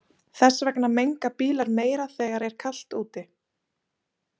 Þess vegna menga bílar meira þegar er kalt úti.